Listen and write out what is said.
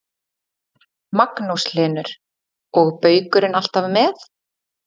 Magnús Hlynur: Og baukurinn alltaf með?